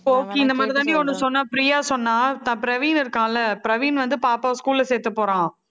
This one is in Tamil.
கோக்கி இந்த மாதிரி தாண்டி ஒண்ணு சொன்னா பிரியா சொன்னா த~ பிரவீன் இருக்கான்ல பிரவீன் வந்து பாப்பாவை school ல சேர்த்து போறான்